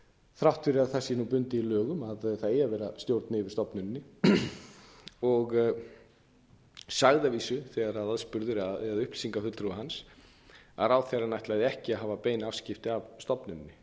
þrátt fyrir að það sé nú bundið í lögum að það eigi að vera stjórn yfir stofnuninni sagði að vísu þegar hann eða upplýsingafulltrúi hans var spurður að ráðherrann ætlaði ekki að hafa bein afskipti af stofnuninni